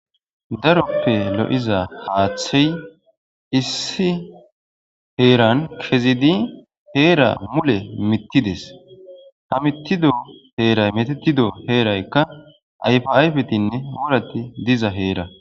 daroppe lo7iza haaththey issi heeran kezidi heera mule mittides ha mittido heeray metetido heeraykka ayfi ayfetinne mulati diza heera